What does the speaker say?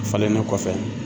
Falennen kɔfɛ